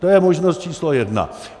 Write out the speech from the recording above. To je možnost číslo jedna.